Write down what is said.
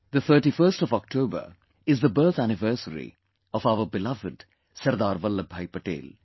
The 31st of October is the birth anniversary of our beloved Sardar Vallabhbhai Patel